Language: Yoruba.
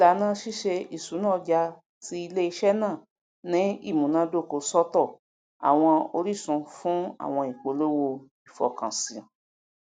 ìlànà ṣíṣe ìṣúná ọja ti iléiṣẹ náà ní ìmúnádókò sọtọ àwọn orísun fún àwọn ipolówó ìfọkànsí